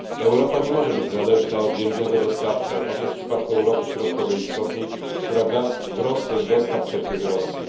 Europa nie może być zależna od jednego dostawcy, a tak jest w przypadku Europy Środkowej i Wschodniej, która gros swych dostaw czerpie z Rosji.